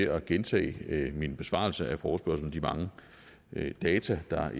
at gentage min besvarelse af forespørgslen og de mange data der